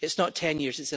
It's not 10 years